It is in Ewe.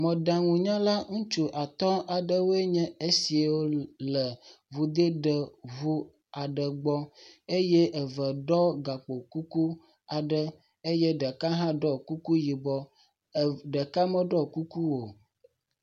Mɔɖaŋunyala ŋutsu atɔ̃ aɖewoe nye esi wo le ŋudoɖeŋu aɖe gbɔ eye eve ɖui gakpo kuku aɖe eye ɖeka hã ɖɔ kuku yibɔ. Ɖeka meɖɔ kuku o.